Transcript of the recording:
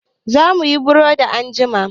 Za muyi burodi anjima.